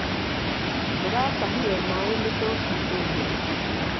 Ndĩratahire maĩ mĩtũngi ĩĩrĩ.